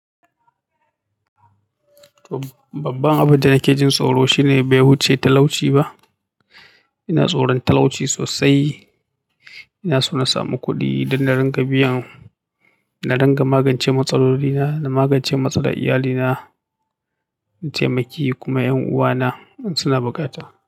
To babban abin da nake jin tsoro shine bai wuce talauci ba. Ina tsoron talauci sosai. Ina so na samu kuɗi don na dinga biyan, na dinga magance matsalolina, na magance matsalar iyalina, na taimaki kuma 'yan uwana in suna buƙata.